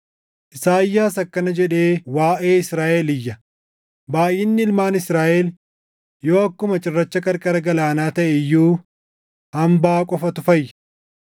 Isaayyaas akkana jedhee waaʼee Israaʼel iyya: “Baayʼinni ilmaan Israaʼel // yoo akkuma cirracha qarqara galaanaa taʼe iyyuu, hambaa qofatu fayya.